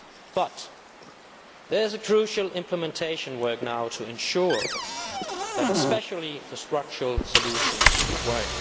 But there is crucial implementation work to be done now to ensure that especially the structural solutions work.